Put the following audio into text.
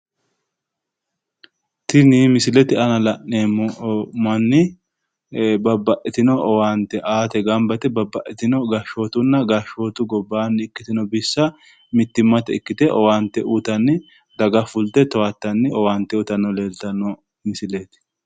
Tini misilete aana la'neemmo manni babbaxxitino owaate aate gamba yite babbaxxitino gashshootunna gashshootu gobbaanni ikkitino bissa mittimmatenni ikkite owaante uytanni daga fulte towaattanni owaante uytanni leeltanno misileeti.